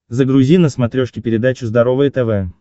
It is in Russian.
загрузи на смотрешке передачу здоровое тв